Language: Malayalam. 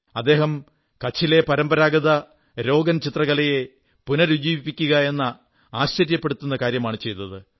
അദ്ദേഹം കച്ചിലെ പരമ്പരാഗത രോഗൻ ചിത്രകലയെ പുനരുജ്ജീവിപ്പിക്കുകയെന്ന ആശ്ചര്യപ്പെടുത്തുന്ന കാര്യമാണു ചെയ്തത്